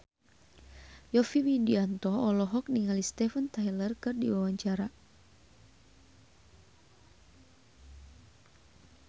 Yovie Widianto olohok ningali Steven Tyler keur diwawancara